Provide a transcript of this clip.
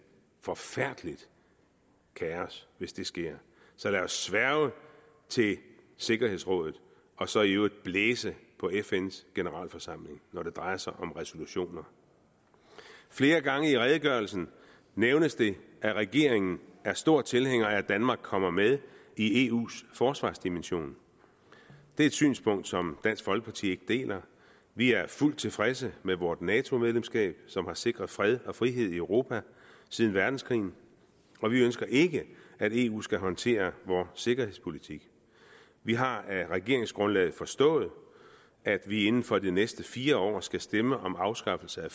forfærdeligt kaos hvis det sker så lad os sværge til sikkerhedsrådet og så i øvrigt blæse på fns generalforsamling når det drejer sig om resolutioner flere gange i redegørelsen nævnes det at regeringen er stor tilhænger af at danmark kommer med i eus forsvarsdimension det er et synspunkt som dansk folkeparti ikke deler vi er fuldt tilfredse med vort nato medlemskab som har sikret fred og frihed i europa siden verdenskrigen og vi ønsker ikke at eu skal håndtere vores sikkerhedspolitik vi har af regeringsgrundlaget forstået at vi inden for de næste fire år skal stemme om afskaffelse